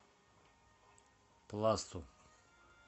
пласту